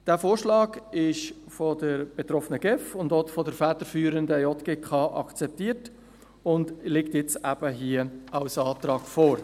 Dieser Vorschlag wurde von der betroffenen GEF und von der federführenden JGK akzeptiert und liegt hier als Antrag vor.